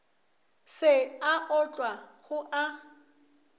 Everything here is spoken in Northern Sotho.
se a otlwa go a